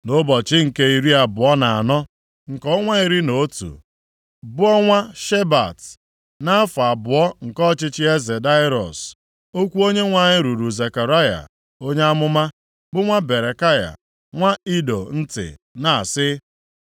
Nʼụbọchị nke iri abụọ na anọ, nke ọnwa iri na otu, bụ ọnwa Shebat, nʼafọ abụọ nke ọchịchị eze Daraiọs, okwu Onyenwe anyị ruru Zekaraya onye amụma, bụ nwa Berekaya, nwa Ido ntị, na-asị: